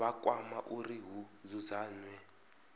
vha kwama uri hu dzudzanywe